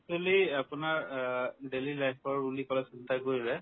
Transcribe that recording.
actually আপোনাৰ অ daily life ৰ উন্নিত কৰাৰ চিন্তা কৰিলে